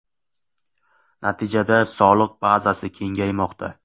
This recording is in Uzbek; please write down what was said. Natijada soliq bazasi kengaymoqda.